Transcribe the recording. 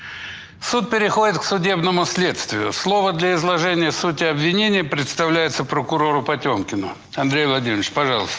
суд переходит к судебному следствию слово для изложения сути обвинений представляется прокурору потёмкину андрей владимирович пожалуйста